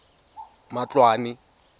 matloane